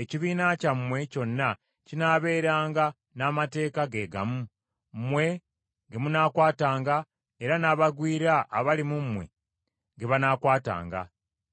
Ekibiina kyammwe kyonna kinaabeeranga n’amateeka geegamu, mmwe ge munaakwatanga era n’abagwira abali mu mmwe ge banaakwatanga;